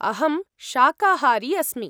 अहं शाकाहारी अस्मि।